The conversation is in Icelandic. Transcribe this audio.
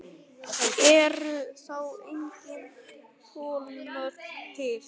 Eru þá engin þolmörk til?